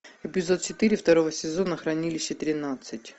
эпизод четыре второго сезона хранилище тринадцать